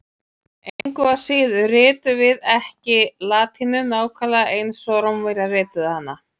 Engu að síður ritum við ekki latínu nákvæmlega eins og Rómverjar rituðu hana.